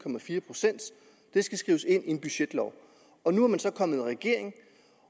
procent det skal skrives ind i en budgetlov nu er man så kommet i regering